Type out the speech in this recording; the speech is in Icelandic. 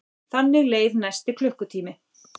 Þannig leið næsti klukkutími.